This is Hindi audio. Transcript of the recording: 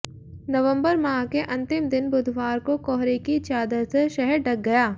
नवबंर माह के अंतिम दिन बुधवार को कोहरे की चादर से शहर ढग गया